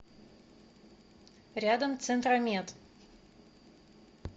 рядом центромед